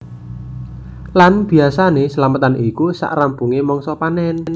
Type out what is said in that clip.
Lan biasané slametan iku sak rampungé mangsa panen